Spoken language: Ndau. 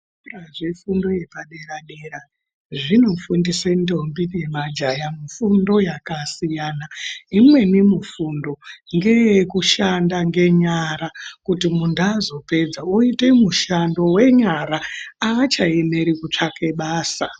Zvefundo yepadera dera zvinofundise ndombi nema jaya mifundo yaka siyana imweni mifundo ngeye kushanda ngenyara kuti muntu azopedza oite mushando wenyara aacha emeri jutsvake basa.